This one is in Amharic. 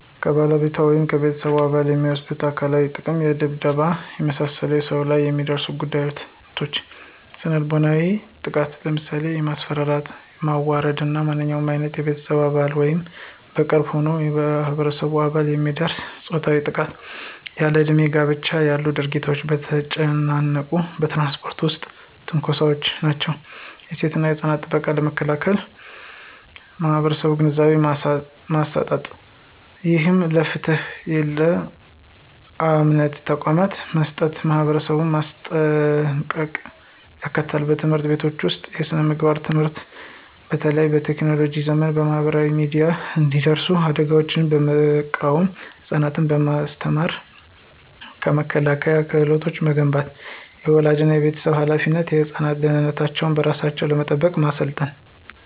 ከባለቤቷ ወይም ከቤተሰብ አባል የሚደርስ አካላዊ ጥቃት የድብደባ፣ የመሳሰሉ ሰውነት ላይ የሚደርሱ ጉዳቶች። የስነ-ልቦናዊ ጥቃት ለምሳሌ የማስፈራራት፣ ማዋረድ እና ማንኛውም ዓይነት በቤተሰብ አባል ወይም በቅርብ የሆነ የማህበረሰብ አባል የሚደርስ ፆታዊ ጥቃት። ያለእድሜ ጋብቻ ያሉ ድርጊቶች። በተጨናነቁ በትራንስፖርት ውስጥ ትንኮሳዎች ናቸው። የሴቶችና ህጻናት ጥቃትን ለመከላከል የማህበረሰብ ግንዛቤ ማሰስ፣ ይህም ለፍትህና ለየእምነት ተቋማት መስራትና ማህበረሰቡን ማሰልጠን ያካትታል። በትምህርት ቤቶች ውስጥ የስነ-ምግባር ትምህርት በተለይ በቴክኖሎጂ ዘመን በማህበራዊ ሚዲያ የሚደርሱ አደጋዎችን በመቃወም ህፃናትን በማስተማር የመከላከያ ክህሎት መገንባት። · የወላጆችና የቤተሰብ ኃላፊነት ህፃናትን ደህንነታቸውን በራሳቸው ለመጠበቅ ማሰልጠን።